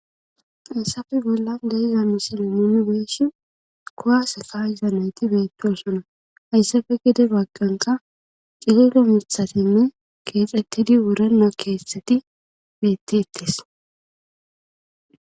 Issafe bolla deizami sileomooni geyeshi kuwase ka hiza nayti beettiosona hayssafe gide bagqanka cirira mithatinne keexettidi wurena keettxeti beetti ittis